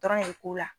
Dɔrɔn de ko la